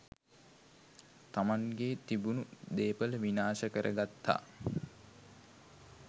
තමන්ගේ තිබුණු දේපල විනාශ කරගත්තා.